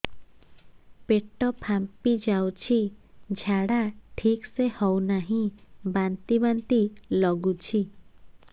ପେଟ ଫାମ୍ପି ଯାଉଛି ଝାଡା ଠିକ ସେ ହଉନାହିଁ ବାନ୍ତି ବାନ୍ତି ଲଗୁଛି